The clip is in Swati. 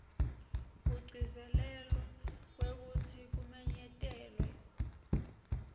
kugcizelela kwekutsi kumenyetelwa